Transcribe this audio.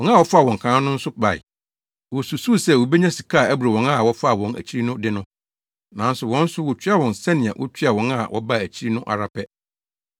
Wɔn a wɔfaa wɔn kan no nso bae. Wosusuw sɛ wobenya sika a ɛboro wɔn a wɔfaa wɔn akyiri no de no. Nanso wɔn nso wotuaa wɔn sɛnea wotuaa wɔn a wɔbaa akyiri no ara pɛ.